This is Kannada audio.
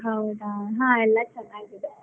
ಹೌದಾ, ಹಾ ಎಲ್ಲಾ ಚೆನ್ನಾಗಿದೆ.